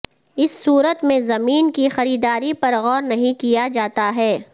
اس صورت میں زمین کی خریداری پر غور نہیں کیا جاتا ہے